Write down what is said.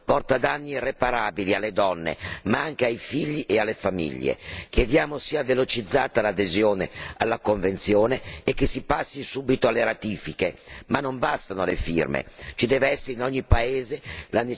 Spesso la mancanza di sufficiente ascolto porta danni irreparabili alle donne, ma anche ai figli e alle famiglie. Chiediamo sia velocizzata l'adesione alla convenzione e che si passi subito alle ratifiche.